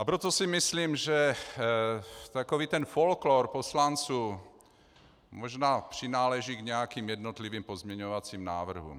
A proto si myslím, že takový ten folklór poslanců možná přináleží k nějakým jednotlivým pozměňovacím návrhům.